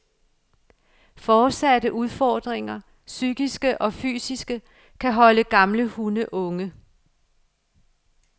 Fortsatte udfordringer, psykiske og fysiske, kan holde gamle hunde unge.